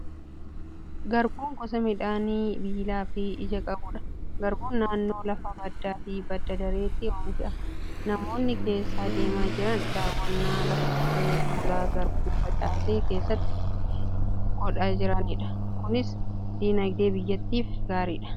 Garbuun gosa midhaanii biilaa fi ija qabudha. Garbuun naannoo lafa baddaa fi badda dareetti oomishama. Namoonni keessa adeemaa jiran daawwannaa lafa qotee bulaa garbuu facaase keessatti godhaa jiranidha. Kunis dinagdee biyyattiif gaariidha.